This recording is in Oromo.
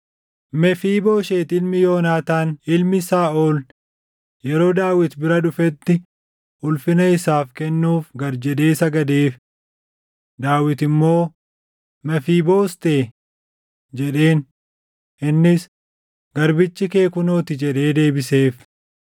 Mefiibooshet ilmi Yoonaataan, ilmi Saaʼol yeroo Daawit bira dhufetti ulfina isaaf kennuuf gad jedhe sagadeef. Daawit immoo, “Mefiiboostee!” jedheen. Innis, “Garbichi kee kunoo ti” jedhee deebiseef.